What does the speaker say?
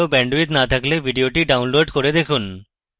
ভালো bandwidth না থাকলে ভিডিওটি download করে দেখুন